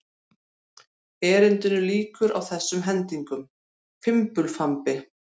Erindinu lýkur á þessum hendingum: Fimbulfambi